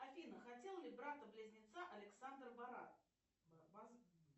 афина хотел ли брата близнеца александр борат